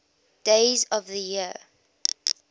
days of the year